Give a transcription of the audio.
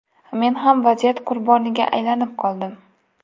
Men ham vaziyat qurboniga aylanib qoldim.